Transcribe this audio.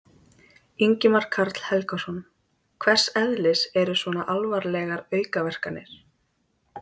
Ingimar Karl Helgason: Hvers eðlis eru svona alvarlegar aukaverkanir?